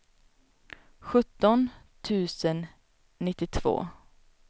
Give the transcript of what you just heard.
sjutton tusen nittiotvå